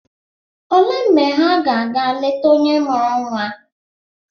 Olee mgbe ha ga ga leta onye mụrụ nwa?